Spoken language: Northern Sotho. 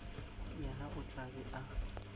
yena o tla be a